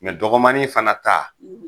Mɛ dɔgɔmanin fɛnɛ ta